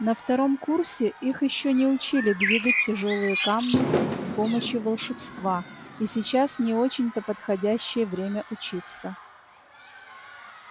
на втором курсе их ещё не учили двигать тяжёлые камни с помощью волшебства и сейчас не очень-то подходящее время учиться